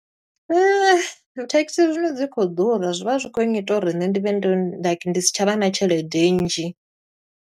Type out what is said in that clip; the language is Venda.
Thekhisi zwino dzi khou ḓura zwi vha zwi khou ngita uri nṋe ndi vhe like ndi si tsha vha na tshelede nnzhi.